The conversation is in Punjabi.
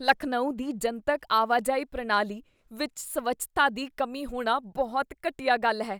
ਲਖਨਊ ਦੀ ਜਨਤਕ ਆਵਾਜਾਈ ਪ੍ਰਣਾਲੀ ਵਿੱਚ ਸਵੱਛਤਾ ਦੀ ਕਮੀ ਹੋਣਾ ਬਹੁਤ ਘਟੀਆ ਗੱਲ ਹੈ।